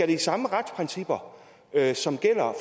de samme retsprincipper som gælder